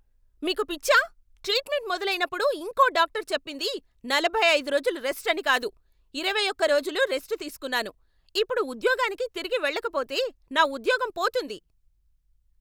మీకు పిచ్చా? ట్రీట్మెంట్ మొదలైనప్పుడు ఇంకో డాక్టర్ చెప్పింది నలభై ఐదు రోజులు రెస్ట్ అని కాదు. ఇరవై ఒక్క రోజులు రెస్ట్ తీసుకున్నాను, ఇప్పుడు ఉద్యోగానికి తిరిగి వెళ్లకపోతే నా ఉద్యోగం పోతుంది.